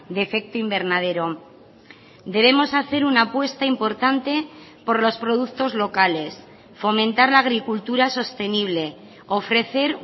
de efecto invernadero debemos hacer una apuesta importante por los productos locales fomentar la agricultura sostenible ofrecer